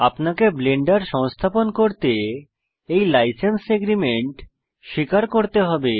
আপনাকে ব্লেন্ডার সংস্থাপন করতে এই লাইসেন্স এগ্রিমেন্ট স্বীকার করতে হবে